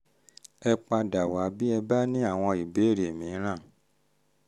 ẹ padà wá bí ẹ bá ní àwọn ìbéèrè mìíràn